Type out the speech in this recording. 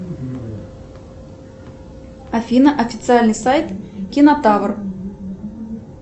афина официальный сайт кинотавр